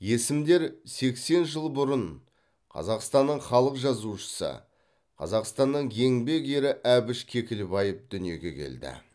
есімдер сексен жыл бұрын қазақстанның халық жазушысы қазақстанның еңбек ері әбіш кекілбаев дүниеге келді